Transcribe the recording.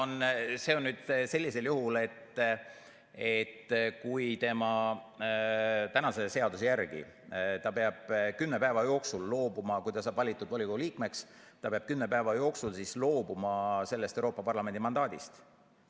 No see on nüüd nii, et kehtiva seaduse järgi, kui ta saab valitud volikogu liikmeks, siis ta peab kümne päeva jooksul loobuma sellest Euroopa Parlamendi mandaadist.